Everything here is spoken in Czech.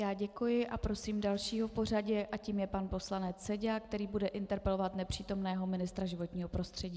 Já děkuji a prosím dalšího v pořadí a tím je pan poslanec Seďa, který bude interpelovat nepřítomného ministra životního prostředí.